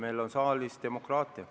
Meil on saalis demokraatia.